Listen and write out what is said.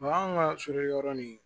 Maa anw ka feerekɛyɔrɔ nin